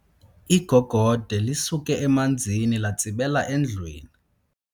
Igogode lisuke emanzini latsibela endlwini.